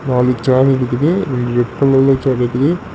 நாளு சேர் இருக்குது ரெண்டு ரெட் கலர்ல சேர் இருக்குது.